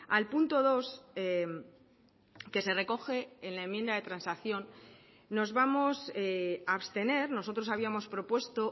al punto dos que se recoge en la enmienda de transacción nos vamos a abstener nosotros habíamos propuesto